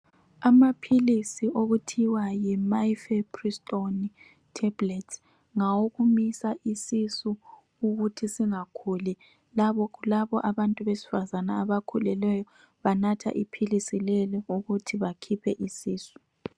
Amaphilisi okuthiwa yi mifeprintoni tablets ngawokumisa isisu ukuthi singakhuli, labo abantu besifazana abakhulelweyo banatha iphilisi lelo ukuthi bakhiphe isisu.